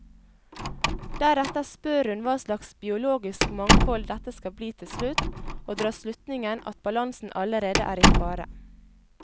Deretter spør hun hva slags biologisk mangfold dette skal bli til slutt, og drar slutningen at balansen allerede er i fare.